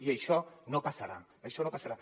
i això no passarà això no passarà